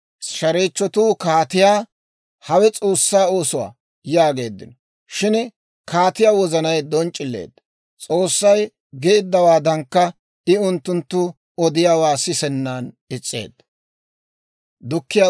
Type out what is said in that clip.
Shareechchatuu kaatiyaa, «Hawe S'oossaa oosuwaa» yaageeddino. Shin kaatiyaa wozanay donc'c'ileedda; S'oossay geeddawaadankka, I unttunttu odiyaawaa sisennan is's'eedda.